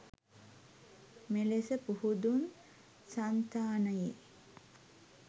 මෙලෙස පුහුදුන් සන්තානයේ